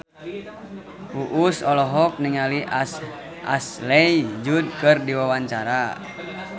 Uus olohok ningali Ashley Judd keur diwawancara